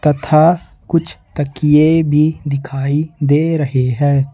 तथा कुछ तकिया भी दिखाई दे रहे हैं।